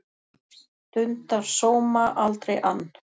Stundar sóma, aldrei ann